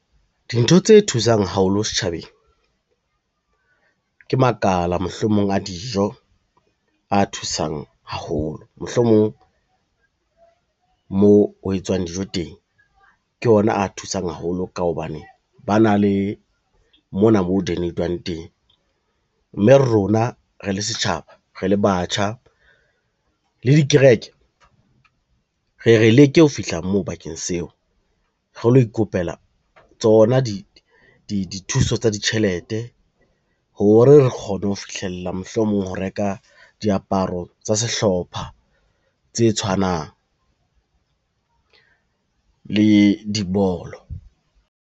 Dintho tse thusang haholo setjhabeng, ke makala mohlomong a dijo a thusang haholo, mohlomong moo ho etswang dijo teng ke ona a thusang haholo ka hobane ba na le mona mo donate-wang teng, mme rona re le setjhaba, re le batjha, le dikereke, re re leke ho fihla moo bakeng seo re lo ikopela tsona dithuso tsa ditjhelete, hore re kgone ho fihlella mohlomong ho reka diaparo tsa sehlopha tse tshwanang le dibolo.